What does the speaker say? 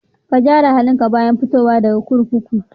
Ka gyara halinka bayan fitowa daga kurkuku.